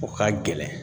O ka gɛlɛn